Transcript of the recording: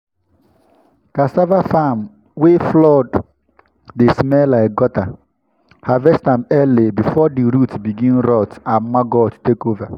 cassava farm wey flood dey smell like gutter—harvest am early before the root begin rot and maggot take over.